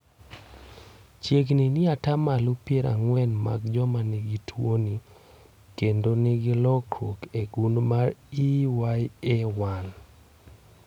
Chiegni ni ata malo piero ang'wen mag joma nigi tuwoni kendo nigi lokruok e gund mar EYA1